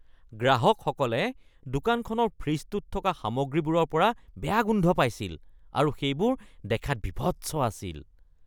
গ্ৰাহকসকলে দোকানখনৰ ফ্ৰিজটোত থকা সামগ্ৰীবোৰৰ পৰা বেয়া গোন্ধ পাইছিল আৰু সেইবোৰ দেখাত বীভৎস আছিল।